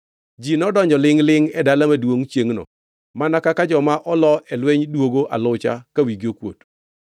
Ji nodonjo lingʼ-lingʼ e dala maduongʼ chiengʼno mana kaka joma oloo e lweny duogo alucha ka wigi okuot.